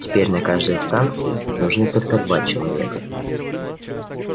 теперь на каждой станции нужны только два человека